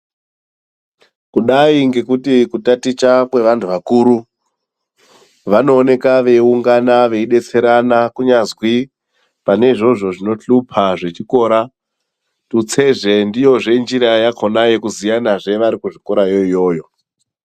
Kudai ngekuti kutaticha kwevantu vakuru vanooneka veiungana veidetserana kunyanzi pane izvozvo zvinohlupa zvechikora tutsezve ndiyo njira yekuziyanazve varikuchikora iyoyo.